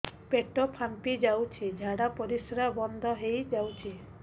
ପେଟ ଫାମ୍ପି ଯାଉଛି ଝାଡା ପରିଶ୍ରା ବନ୍ଦ ହେଇ ଯାଉଛି